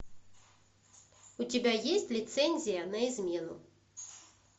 у тебя есть лицензия на измену